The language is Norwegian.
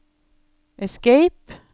escape